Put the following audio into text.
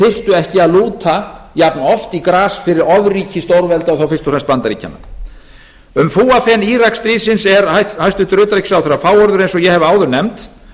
ekki að lúta jafnoft í gras fyrir ofríki stórvelda og þá fyrst og fremst bandaríkjanna um fúafen íraksstríðsins er hæstvirtur utanríkisráðherra fáorður eins og ég hef áður nefnt